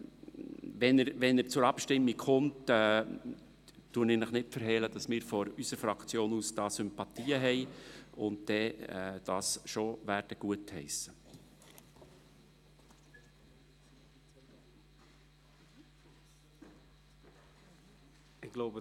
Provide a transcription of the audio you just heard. Ich verhehle Ihnen nicht, dass, sollte diese Planungserklärung zur Abstimmung kommen, unsere Fraktion dafür Sympathien hat und diese gutheissen wird.